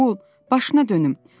Oğul, başına dönüm.